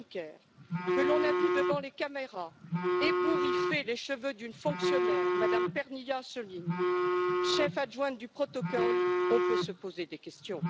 Juncker que l'on a vu devant les caméras ébouriffer les cheveux d'une fonctionnaire, Mme Pernilla Sjölin, cheffe adjointe du protocole, on peut se poser des questions.